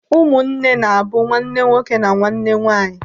Ụmụnne na-abụ nwanne nwoke na nwanne nwaanyị.